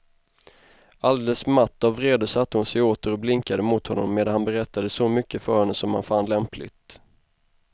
Alldeles matt av vrede satte hon sig åter och blinkade mot honom medan han berättade så mycket för henne som han fann lämpligt.